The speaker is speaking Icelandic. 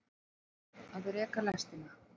Að reka lestina